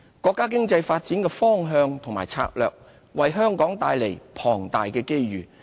國家經濟發展的方向和策略，為香港帶來龐大的機遇。